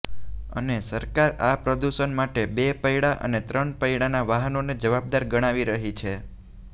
અને સરકાર આ પદુષણ માટે બે પૈડા અને ત્રણ પૈડાના વાહનોને જવાબદાર ગણાવી રહી છે